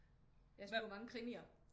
Jeg sluger mange krimier